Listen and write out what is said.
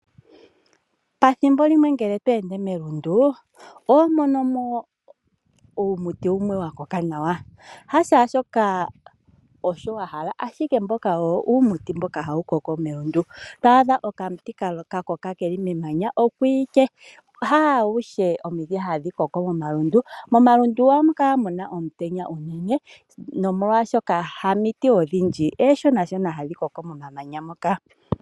Pathimbo limwe ngele to ende melundu, oho adha uumuti wumwe wa koka nawa. Hamiti adhihe tadhi vulu okukoka melundu oshoka ohamu kala omutenya. Omiti omishona hadhi vulu okukokela momamanya.